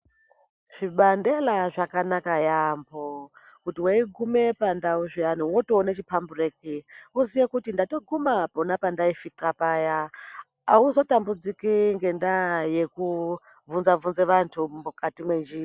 Zvibandela zvakanaka yambo kuti weiguma pandau zviyani wotoona Wotoona chipambureki wotoziva kuti watoguma pona pandai fixa paya azotambudziki ngenyaya yekuvhunza vhunza vantu mukati menjira.